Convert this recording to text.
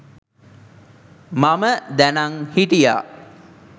මම දැනං හිටියා.